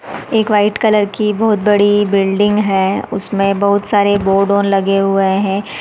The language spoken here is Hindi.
एक वाइट कलर की बहुत बड़ी बिल्डिंग है उसमे बहुत सारे बोर्डओ लगे हुए हैं।